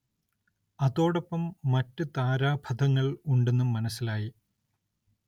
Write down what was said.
അതോടൊപ്പം മറ്റ് താരാപഥങ്ങൾ ഉണ്ടെന്നും മനസ്സിലായി.